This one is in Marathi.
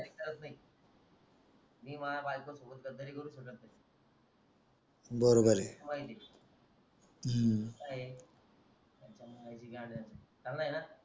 करत नही बायको सोबत गदारी करू शकत नाही तुला माहितीय ह्यांच्या मायची गांड ह्यांच्या चालय ना